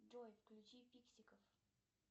джой включи фиксиков